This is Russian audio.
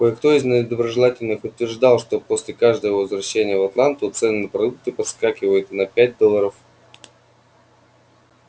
кое-кто из недоброжелателей утверждал что после каждого его возвращения в атланту цены на продукты подскакивают на пять долларов